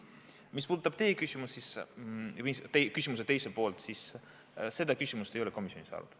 Mis puudutab teie küsimuse teist poolt, siis seda küsimust ei ole komisjonis arutatud.